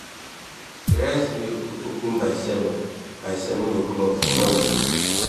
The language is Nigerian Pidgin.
de rice mill go open by seven by seven oclock for morning